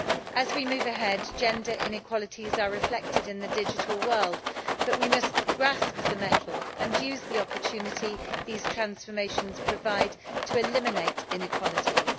As we move ahead, gender inequalities are reflected in the digital world, but we must grasp the nettle and use the opportunity these transformations provide to eliminate inequalities.